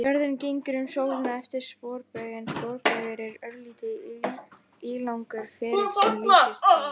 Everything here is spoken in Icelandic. Jörðin gengur um sólina eftir sporbaug en sporbaugur er örlítið ílangur ferill sem líkist hring.